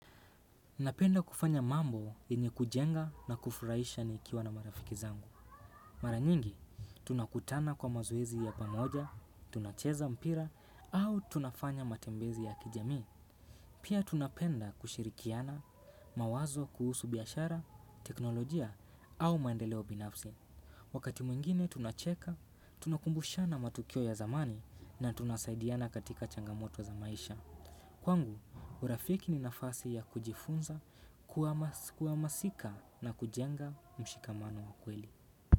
Napenda kufanya mambo yenye kujenga na kufuraisha nikiwa na marafiki zangu. Mara nyingi, tunakutana kwa mazoezi ya pamoja, tunacheza mpira, au tunafanya matembezi ya kijami. Pia tunapenda kushirikiana, mawazo kuhusu biashara, teknolojia, au maendeleo binafsi. Wakati mwingine tunacheka, tunakumbushana matukio ya zamani, na tunasaidiana katika changamoto za maisha. Kwangu, urafiki ni nafasi ya kujifunza, kuamasika na kujenga mshikamano wa kweli.